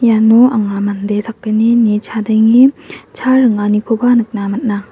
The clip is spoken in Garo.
iano anga mande sakgnini chadenge cha ringanikoba nikna man·a.